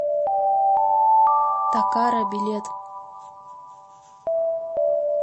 такара билет